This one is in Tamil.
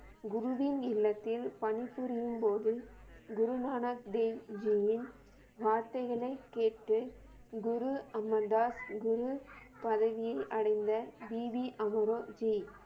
குருவின் இல்லத்தில் பணிபுரியும் போது குரு நானக் தேவ் ஜியின் வார்த்தைகளை கேட்டு குரு அமன்தார் குரு பதவியை அடைந்த பிபி அமரோ ஜி